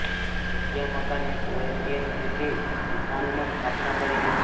જગ્યા મકાન એક ઓરિએન્ટલ શૈલી હૂંફાળું માં સ્થાપના કરી હતી